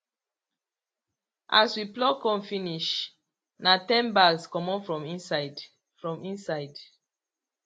as we pluck corn finish na ten bags comot from inside from inside